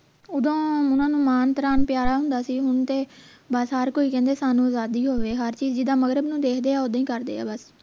ਓਦੋਂ ਓਹਨਾ ਨੂੰ ਨਾਮ ਪਿਆਰਾ ਹੁੰਦਾ ਸੀ ਹੁਣ ਤੇ ਬਸ ਹਰ ਕੋਈ ਕਹਿੰਦੇ ਸਾਨੂੰ ਆਜ਼ਾਦੀ ਹੋਵੇ ਹਰ ਚੀਜ਼ ਜਿੱਦਾਂ ਨੂੰ ਦੇਖਦੇ ਹੈ ਓਦਾਂ ਹੀ ਕਰਦੇ ਹੈ ਬਸ